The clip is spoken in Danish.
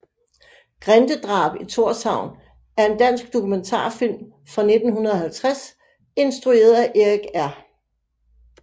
Grindedrab i Thorshavn er en dansk dokumentarfilm fra 1950 instrueret af Erik R